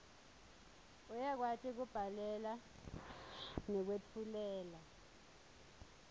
uyakwati kubhalela nekwetfulela